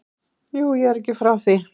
Jú, ég er ekki frá því.